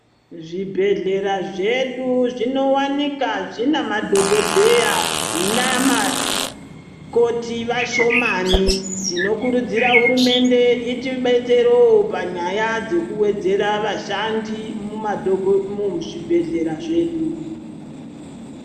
Zvibhedhlera zvedu zvinowanikaa zvinamadhokodheya namakoti vashomani tinokurudzira hurumende itibetserewo panyaya dzekuwedzera vashandi muzvibhedhlera zvedu.